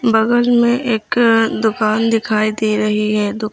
बगल में एक दुकान दिखाई दे रही है।